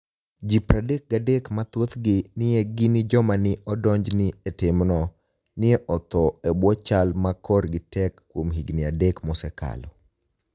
Ji 33, ma thothgi ni e gini joma ni e odonijni e e timno, ni e otho e bwo chal ma korgi tek kuom higinii adek mosekalo.